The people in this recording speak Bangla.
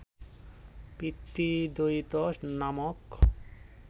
পিতৃদয়িত নামক